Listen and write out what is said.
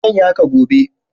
Zan yi haka gobe.